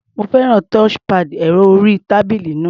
Mo fẹ́ràn touchpad ẹ̀rọ-orí-tábílì náà.